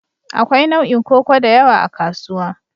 Akwai nau'in koko da yawa a kasuwa.